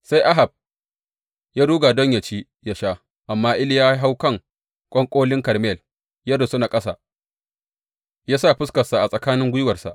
Sai Ahab ya ruga don yă ci, yă sha, amma Iliya ya hau kan ƙwanƙolin Karmel, ya rusuna ƙasa, ya sa fuska a tsakanin gwiwarsa.